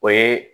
O ye